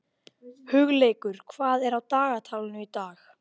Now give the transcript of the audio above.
Hugleikur, hvað er á dagatalinu í dag?